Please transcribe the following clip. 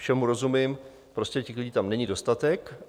Všemu rozumím, prostě těch lidí tam není dostatek.